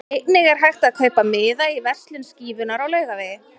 Einnig er hægt að kaupa miða í verslun Skífunnar á Laugavegi.